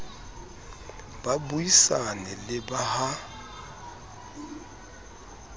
ba buisane le ba ha